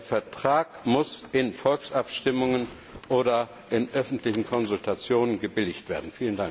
Der Vertrag muss in Volksabstimmungen oder in öffentlichen Konsultationen gebilligt werden.